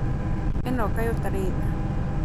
ĩno kaĩ ũtarĩ tha?